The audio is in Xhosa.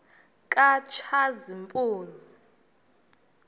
katshazimpuzi